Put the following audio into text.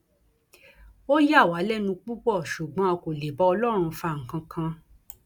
ó yà wá lẹnu púpọ ṣùgbọn a kò lè bá ọlọrun fa nǹkan kan